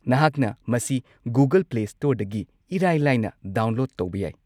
ꯅꯍꯥꯛꯅ ꯃꯁꯤ Google play ꯁ꯭ꯇꯣꯔꯗꯒꯤ ꯏꯔꯥꯏ-ꯂꯥꯏꯅ ꯗꯥꯎꯟꯂꯣꯗ ꯇꯧꯕ ꯌꯥꯏ꯫